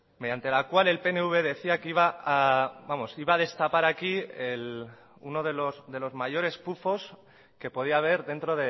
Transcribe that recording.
mediante la cual el pnv decía que iba a vamos iba a destapar aquí uno de los mayores pufos que podía haber dentro